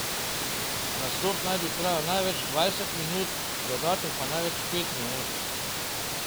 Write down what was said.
Nastop naj bi trajal največ dvajset minut, dodatek pa največ pet minut.